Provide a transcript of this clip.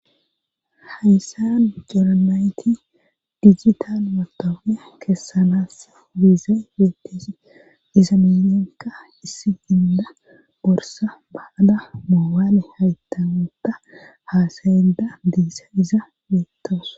Hayssan coranayti digital matobiya keessanaas wiizey beetteesi iza minenka issi inda borsa baada moobaale haytamuta haasayeda diissa iza beettos.